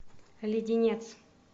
леденец